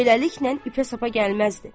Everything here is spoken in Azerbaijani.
Beləliklə ipə-sapa gəlməzdi.